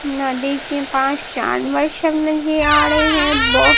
नदी के पास जानवर सब नजर आ रहे हैं ब--